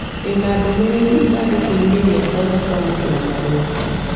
Ndĩ na ndũmĩrĩri ithandūkū inī rīakwa rĩa kwamūkīra marua .